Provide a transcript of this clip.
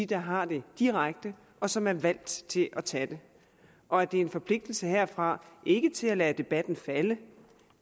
der har det direkte og som er valgt til at tage det og at det er en forpligtelse herfra ikke til at lade debatten falde